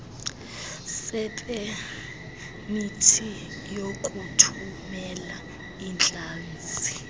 sepemithi yokuthumela iintlanzi